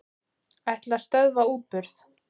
Ætla að stöðva útburð